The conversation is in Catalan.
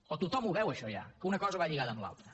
però tothom ho veu això ja que una cosa va lligada amb l’altra